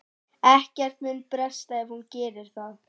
Ekkert mun bresta ef hún gerir það.